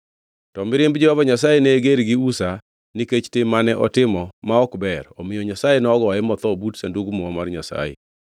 To mirimb Jehova Nyasaye ne ger gi Uza nikech tim mane otimo ma ok ber omiyo Nyasaye nogoye motho but Sandug Muma mar Nyasaye.